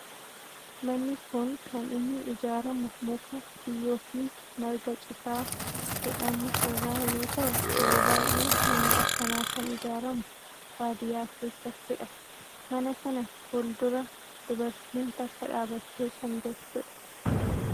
Manni kun kan inni ijaaramu muka, biyyoo fi marga citaa jedhamu irraa yoo ta'u yeroo baayyee manni akkanaa kan ijaaramu baadiyaa keessattidha. mana kana fuuldura dubartiin takka dhaabbattee kan jirtudha.